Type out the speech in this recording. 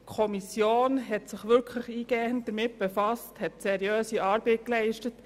Die Kommission hat sich wirklich eingehend damit befasst und seriöse Arbeit geleistet.